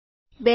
૨ લો